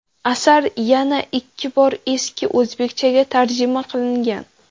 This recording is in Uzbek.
Asar yana ikki bor eski o‘zbekchaga tarjima qilingan.